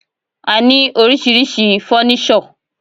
A ní oríṣiríṣi fọ́nísọ̀.